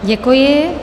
Děkuji.